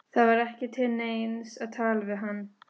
Það var ekki til neins að tala við hann.